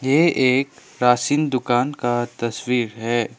ये एक राशन दुकान का तस्वीर है।